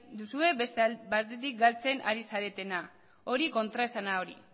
duzue beste batetik galtzen ari zaretena hori kontraesana hori